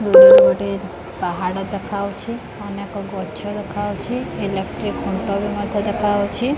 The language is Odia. ଏଠି ଗୋଟେ ପାହାଡ଼ ଦେଖାଯାଉଛି ଅନେକ ଗଛ ଦେଖାଯାଉଛି ଇଲେକ୍ଟ୍ରି ଖୁଣ୍ଟବି ମଧ୍ୟ ଦେଖାଯାଉଛି।